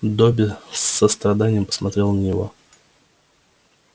добби с состраданием посмотрел на него